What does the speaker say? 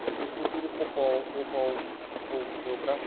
Mas eu procuro poupar um , poupar um pouco o meu braço.